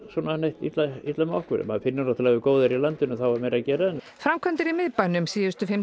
illa illa með okkur maður finnur náttúrulega góðæri í landinu að þá er meira að gera framkvæmdir í miðbænum síðustu fimm